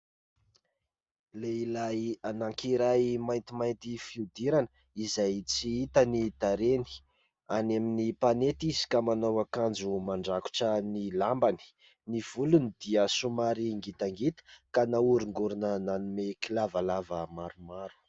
Lehilahy anakiray maintimainty fiodirana izay tsy hita ny tarehiny any amin'ny mpanety izy ka manao akanjo mandrakotra ny lambany. Ny volony dia somary "ngita ngita" ka nahorongorona nanome kilavalava maromaro.